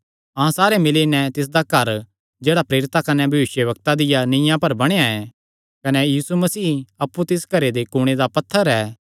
अहां सारे मिल्ली नैं तिसदा घर हन जेह्ड़ा प्रेरितां कने भविष्यवक्तां दियां नीआं पर बणेया ऐ कने यीशु मसीह अप्पु तिस घरे दे कुणे दा पत्थर ऐ